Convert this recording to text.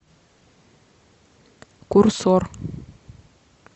курсор